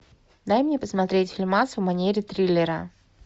дай мне посмотреть фильмас в манере триллера